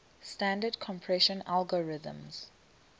standard compression algorithms